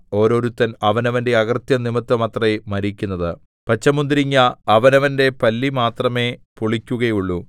ഓരോരുത്തൻ അവനവന്റെ അകൃത്യം നിമിത്തമത്രേ മരിക്കുന്നത് പച്ചമുന്തിരിങ്ങാ അവനവന്റെ പല്ലി മാത്രമേ പുളിക്കുകയുള്ളു